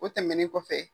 O tɛmɛnen kɔfɛ